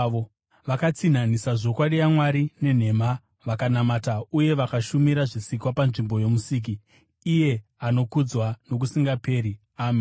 Vakatsinhanisa zvokwadi yaMwari nenhema, vakanamata uye vakashumira zvisikwa panzvimbo yoMusiki, iye anokudzwa nokusingaperi. Ameni.